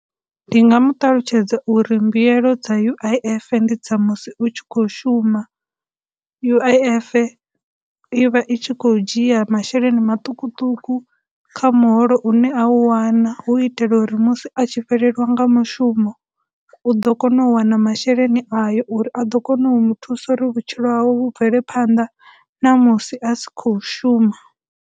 Ndi nga mu ṱalutshedza uri mbuyelo dza U_I_F ndi dza musi u tshi khou shuma, U_I_F i vha i tshi khou dzhia masheleni maṱukuṱuku kha muholo u ne a u wana hu itela uri musi a tshi fhelelwa nga mushumo, u ḓo kona u wana masheleni ayo uri a ḓo kona u mu thusa uri vhutshilo hawe vhu bvele phanḓa na musi a si khou shuma.